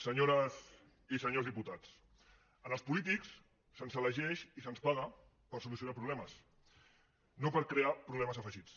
senyores i senyors diputats als polítics se’ns elegeix i se’ns paga per solucionar problemes no per crear problemes afegits